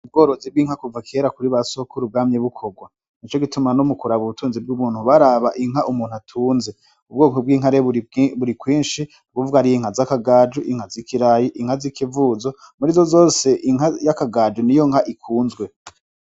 Ubworozi bw'inka kuva kera kuri ba sohokura ubwami bukorwa ni co gituma no mu kuraba ubutunzi bw'ubuntu baraba inka umuntu atunze ubwoko bw'inkare buri kwinshi buvwa ari yo inka z' akagaju inka zikirayi inka zi ikivuzo muri zo zose inka y'akagaju ni yo nka ikunzwe.